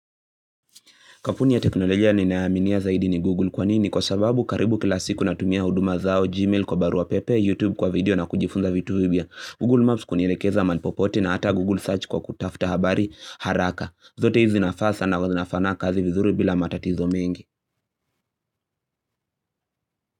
Kampuni ya teknolojia ninayoaminia zaidi ni Google kwa nini? Kwa sababu karibu kila siku natumia huduma zao Gmail kwa barua pepe, YouTube kwa video na kujifunza vitu vipya. Google Maps kunilekeza mahali popote na hata Google Search kwa kutafta habari haraka. Zote hizi zinafaa sana zinafanya kazi vizuri bila matatizo mengi.